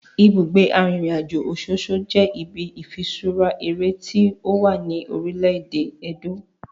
Ibugbe arinrinajo Ososo je ibi ifiṣura ere ti owa ni orile-ede Edo.